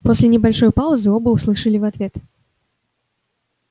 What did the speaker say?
после небольшой паузы оба услышали в ответ